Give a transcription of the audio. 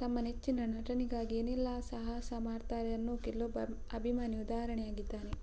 ತಮ್ಮ ಮೆಚ್ಚಿನ ನಟನಿಗಾಗಿ ಏನೇನೆಲ್ಲ ಸಾಹಸ ಮಾಡ್ತಾರೆ ಅನ್ನೋಕೆ ಇಲ್ಲೊಬ್ಬ ಅಭಿಮಾನಿ ಉದಾಹರಣೆಯಾಗಿದ್ದಾನೆ